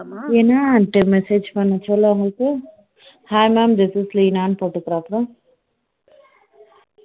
என்னனு message பண்ண சொல்ல அவங்களுக்கு hi mam this Leena போட்டு இருக்கிறார்களா